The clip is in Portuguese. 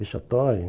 Vexatória.